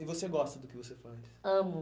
E você gosta do que você faz? Amo.